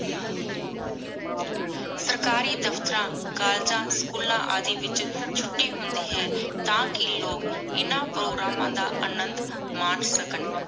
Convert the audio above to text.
ਸਰਕਾਰੀ ਦਫਤਰਾਂ ਕੋਲ੍ਲੇਗਾਂ ਸ੍ਚੂਲਾਂ ਵਿਚ ਛੁਟੀ ਹੁੰਦੀ ਹੈ ਟਾਕੀ ਲੋਗ ਇਨਾ ਪ੍ਰੋਗਰਾਮਾਂ ਦਾ ਅਨੰਦੁ ਮਨ ਸਕਣ